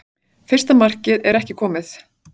Fyrsta markmið er ekki komið